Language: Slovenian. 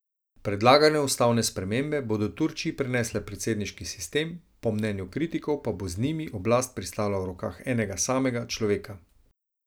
Predlagane ustavne spremembe bodo Turčiji prinesle predsedniški sistem, po mnenju kritikov pa bo z njimi oblast pristala v rokah enega samega človeka.